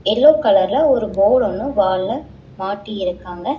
Yellow கலர்ல ஒரு board ஒன்னு வால்ல மாட்டி இருக்காங்க.